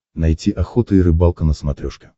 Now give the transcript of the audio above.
найти охота и рыбалка на смотрешке